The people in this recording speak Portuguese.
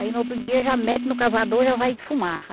Aí no outro dia já mete no cavador e já vai defumar.